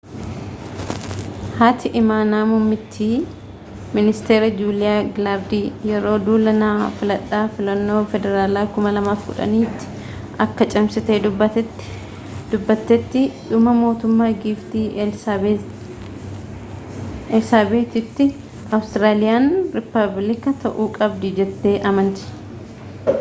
haati imaanaa muummittiin ministeeraa juuliyaa gilaardi yeroo duula na filadhaa filannoo federaalaa 2010 tti akka cimsitee dubbattetti dhuma mootummaa giiftii eelsaabex ii tti awustiraaliyaan rippaabiliika ta'uu qabdi jettee amanti